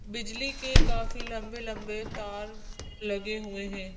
बिजली के काफी लंबे-लंबे तार लगे हुए हैं।